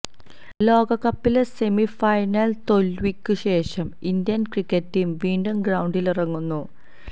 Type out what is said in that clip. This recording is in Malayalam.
ലോകകപ്പിലെ സെമി ഫൈനല് തോല്വിക്കുശേഷം ഇന്ത്യന് ക്രിക്കറ്റ് ടീം വിണ്ടും ഗ്രൌണ്ടിലിറങ്ങുന്നു